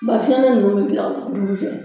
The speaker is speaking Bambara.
Ba fiɲɛnin ninnu bɛ dilan o dugujɛ